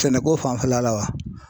Sɛnɛko fanfɛla la wa ?